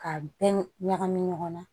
K'a bɛɛ ɲagami ɲɔgɔn na